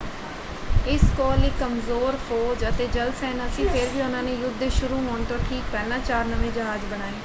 ਇਸ ਕੋਲ ਇੱਕ ਕਮਜ਼ੋਰ ਫੌਜ ਅਤੇ ਜਲ ਸੈਨਾ ਸੀ ਫਿਰ ਵੀ ਉਹਨਾਂ ਨੇ ਯੁੱਧ ਦੇ ਸ਼ੁਰੂ ਹੋਣ ਤੋਂ ਠੀਕ ਪਹਿਲਾਂ ਚਾਰ ਨਵੇਂ ਜਹਾਜ਼ ਬਣਾਏ।